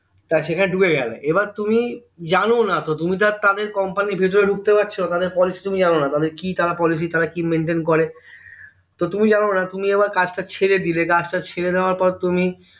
তো সেখানে ঢুকে গেলে এবার তুমি জানো না তো তুমি তো আর তাদের company এর ভেতরে ঢুকতে পারছো তাদের policy তুমি জানো না তাদের কি তারা policy তারা কি maintain করে তো তুমি জানোনা তুমি আবার কাজটা ছেড়ে দিলে কাজটা ছেড়ে দেয়ার পর তুমি